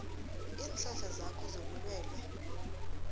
iinhlahla zakho zobulwelwe